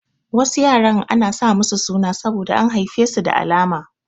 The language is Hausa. Wasu yaran ana sa musu suna saboda an haife su da alama.